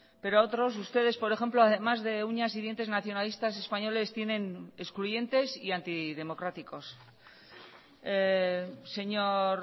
pero a otros ustedes por ejemplo además de uñas y dientes nacionalistas españoles tienen excluyentes y antidemocráticos señor